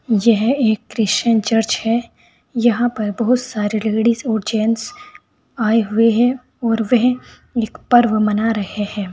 यह एक Christian church है। यहां पर बहुत सारे लेडिस और जेंट्स आए हुए हैं और वह एक पर्व मना रहे हैं।